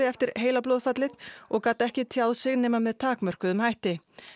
eftir heilablóðfallið og gat ekki tjáð sig nema með takmörkuðum hætti